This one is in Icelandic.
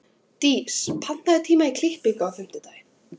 Dís, pantaðu tíma í klippingu á fimmtudaginn.